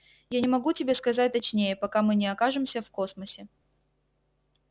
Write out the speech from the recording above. я не могу тебе сказать точнее пока мы не окажемся в космосе